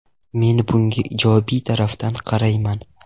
Men bunga ijobiy tarafdan qarayman.